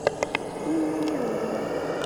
инна неродова